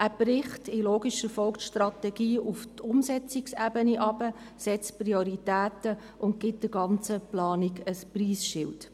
Er bricht in logischer Folge die Strategie auf die Umsetzungsebene herunter, setzt Prioritäten und gibt der ganzen Planung ein Preisschild.